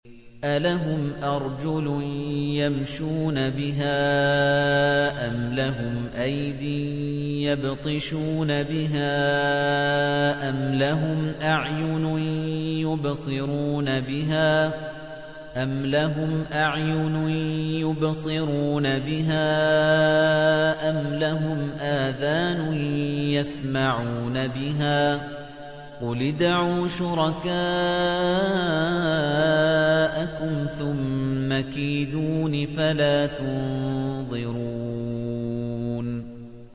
أَلَهُمْ أَرْجُلٌ يَمْشُونَ بِهَا ۖ أَمْ لَهُمْ أَيْدٍ يَبْطِشُونَ بِهَا ۖ أَمْ لَهُمْ أَعْيُنٌ يُبْصِرُونَ بِهَا ۖ أَمْ لَهُمْ آذَانٌ يَسْمَعُونَ بِهَا ۗ قُلِ ادْعُوا شُرَكَاءَكُمْ ثُمَّ كِيدُونِ فَلَا تُنظِرُونِ